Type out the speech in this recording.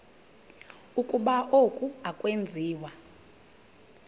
ukuba oku akwenziwa